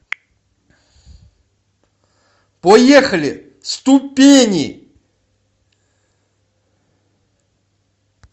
поехали ступени